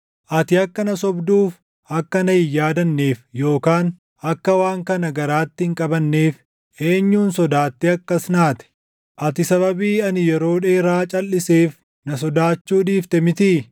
“Ati akka na sobduuf akka na hin yaadanneef, yookaan akka waan kana garaatti hin qabanneef, eenyuun sodaattee akkas naate? Ati sababii ani yeroo dheeraa calʼiseef, na sodaachuu dhiifte mitii?